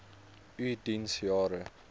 u diens jare